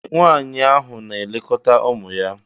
Ee! Nwaanyị ahụ na-elekọta ụmụ ya.